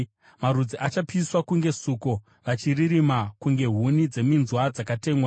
Marudzi achapiswa kunge suko; vacharirima kunge huni dzeminzwa dzakatemwa.”